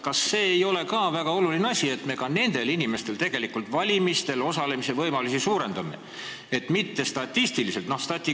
Kas see ei ole väga oluline, et me ka nende inimeste valimistel osalemise võimalusi suurendame tegelikult, mitte statistiliselt?